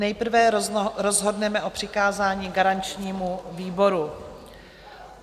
Nejprve rozhodneme o přikázání garančnímu výboru.